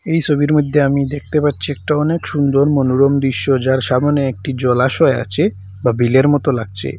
এই সবির মইধ্যে আমি দেখতে পাচ্ছি একটা অনেক সুন্দর মনোরম দৃশ্য যার সামোনে একটি জলাশয় আছে বা বিলের মতো লাগছে।